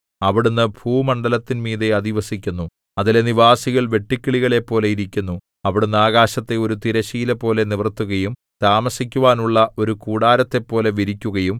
അവിടുന്ന് ഭൂമണ്ഡലത്തിന്മീതെ അധിവസിക്കുന്നു അതിലെ നിവാസികൾ വെട്ടുക്കിളികളെപ്പോലെ ഇരിക്കുന്നു അവിടുന്ന് ആകാശത്തെ ഒരു തിരശ്ശീലപോലെ നിവർത്തുകയും താമസിക്കുവാനുള്ള ഒരു കൂടാരത്തെപ്പോലെ വിരിക്കുകയും